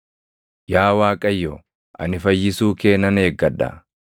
“Yaa Waaqayyo, ani fayyisuu kee nan eeggadha.